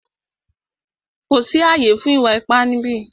Kò sí ààyè fún ìwà ipá ni ìbí yìí!